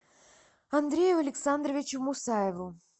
андрею александровичу мусаеву